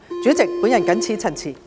主席，我謹此陳辭。